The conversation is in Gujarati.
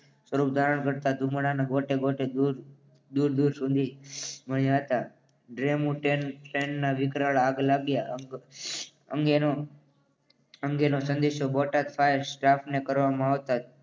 સ્વરૂપ ધારણ કરતા ધુમાડાના ગોટેગોટા દૂર દૂર સુધી ગયા હતા. ડેમો ટ્રેનમાં વિકરાળ આગ લાગ્યા અંગે અંગેનો સંદેશો બોટાદ ફાયર સ્ટાફને કરવામાં આવતા